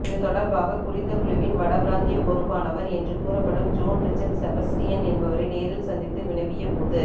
இதுதொடர்பாக குறித்த குழுவின் வடபிராந்திய பொறுப்பானவர் என்று கூறப்படும் ஜோன் ரிச்சட் செபஸ்டியன் என்பவரை நேரில் சந்தித்து வினவியபோது